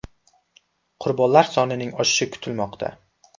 Qurbonlar sonining oshishi kutilmoqda.